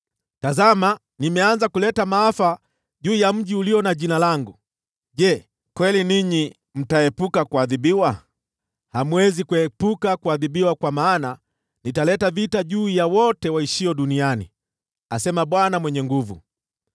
Tazama, nimeanza kuleta maafa juu ya mji ulio na Jina langu, na je, kweli ninyi mtaepuka kuadhibiwa? Hamwezi kuepuka kuadhibiwa, kwa maana nitaleta vita juu ya wote waishio duniani, asema Bwana Mwenye Nguvu Zote.’